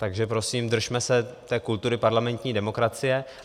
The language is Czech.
Takže prosím, držme se té kultury parlamentní demokracie.